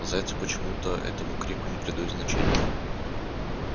но зайцы почему-то этому крику не придают значения